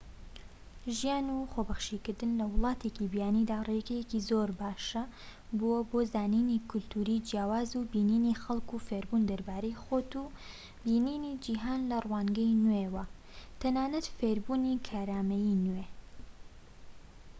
ژیان و خۆبەخشیکردن لە وڵاتێکی بیانیدا ڕێگەیەکی زۆر باشە بۆۆ زانینی کەلتوری جیاواز و بینینی خەلک و فێربوون دەربارەی خۆت و بینینی جیهان لە روانگەی نوێ و تەنانەت فێربوونی کارامەیی نوێ